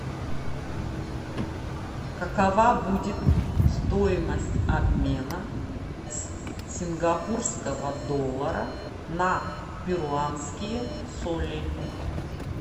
какова будет стоимость обмена с сингапурского доллара на перуанские соли